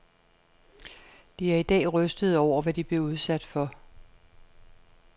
De er i dag rystede over, hvad de blev udsat for.